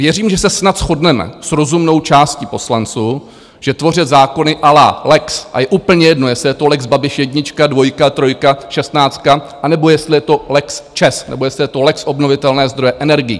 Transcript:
Věřím, že se snad shodneme s rozumnou částí poslanců, že tvořit zákony à la lex - a je úplně jedno, jestli je to lex Babiš jednička, dvojka, trojka, šestnáctka, anebo jestli je to lex ČEZ, nebo jestli je to lex obnovitelné zdroje energií.